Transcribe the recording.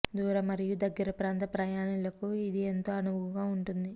దూర మరియు దగ్గర ప్రాంత ప్రయాణాలకు ఇది ఎంతో అనువుగా ఉంటుంది